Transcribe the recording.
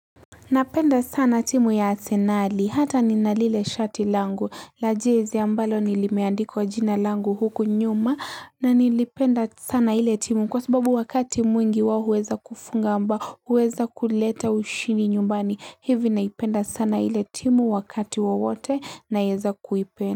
Napenda sana timu ya arsenali hata ninalile shati langu la jezi ambalo nilimeandikwa jina langu huku nyuma na nilipenda sana ile timu kwa sababu wakati mwingi wao huweza kufunga ambao huweza kuleta ushindi nyumbani hivi naipenda sana ile timu wakati wowote naeza kuipenda.